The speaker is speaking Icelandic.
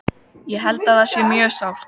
Hún var alveg hörð á því.